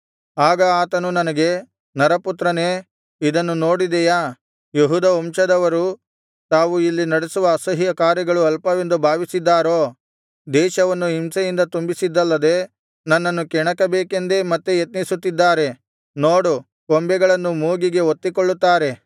ಆಗ ಆತನು ನನಗೆ ನರಪುತ್ರನೇ ಇದನ್ನು ನೋಡಿದೆಯಾ ಯೆಹೂದ ವಂಶದವರು ತಾವು ಇಲ್ಲಿ ನಡೆಸುವ ಅಸಹ್ಯಕಾರ್ಯಗಳು ಅಲ್ಪವೆಂದು ಭಾವಿಸಿದ್ದಾರೋ ದೇಶವನ್ನು ಹಿಂಸೆಯಿಂದ ತುಂಬಿಸಿದ್ದಲ್ಲದೆ ನನ್ನನ್ನು ಕೆಣಕಬೇಕೆಂದೇ ಮತ್ತೆ ಯತ್ನಿಸುತ್ತಿದ್ದಾರೆ ನೋಡು ಕೊಂಬೆಗಳನ್ನು ಮೂಗಿಗೆ ಒತ್ತಿಕೊಳ್ಳುತ್ತಾರೆ